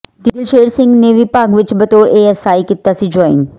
ਦਿਲਸ਼ੇਰ ਸਿੰਘ ਨੇ ਵਿਭਾਗ ਵਿਚ ਬਤੌਰ ਏਐੱਸਆਈ ਕੀਤਾ ਸੀ ਜੁਆਇੰਨ